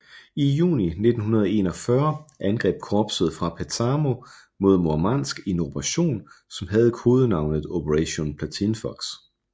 I juni 1941 angreb korpset fra Petsamo mod Murmansk i en operation som havde kodenavnet Operation Platinfuchs